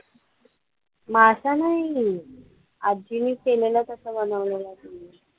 मासा नाही, आजींनी केलेला तसं बनवलेलं